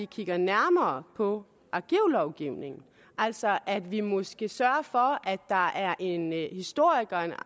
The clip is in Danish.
kigge nærmere på arkivlovgivningen altså at vi måske skal sørge for at der er en historiker